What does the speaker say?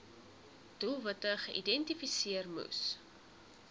doelwitte geïdentifiseer moes